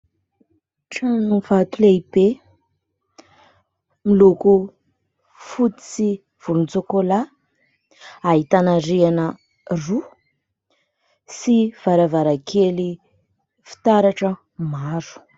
Tranovato lehibe miloko fotsy sy volontsôkôlà , ahitana rihana roa sy varavarankely fitaratra maro.